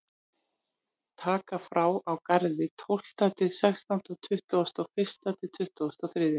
Taka frá á Garði tólfta til sextánda og tuttugasta og fyrsta til tuttugasta og þriðja.